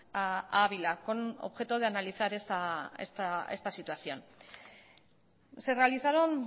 a ávila con objeto de analizar esta situación se realizaron